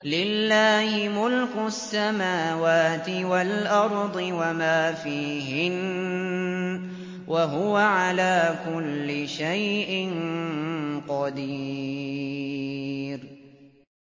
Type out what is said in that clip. لِلَّهِ مُلْكُ السَّمَاوَاتِ وَالْأَرْضِ وَمَا فِيهِنَّ ۚ وَهُوَ عَلَىٰ كُلِّ شَيْءٍ قَدِيرٌ